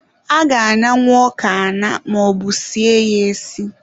A ga-aṅanwu ọka aṅa maọbu sie ya esi.